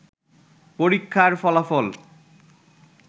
পরীক্ষার ফলাফল